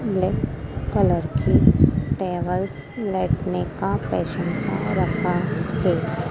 Black colour की tables Lakme का fashion का रखा है।